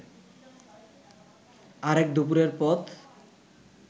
আর এক দুপুরের পথ